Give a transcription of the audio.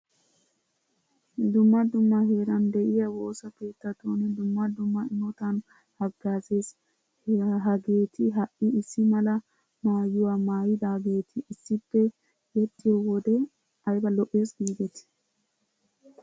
Dumma dumma heeran de'iya woosa keettatun dumma dumma imotan haggaazees. Hageeti ha"i issi mala maayuwa maayidaageetii issippe yexxiyo wodee ayba lo'ees giidetii!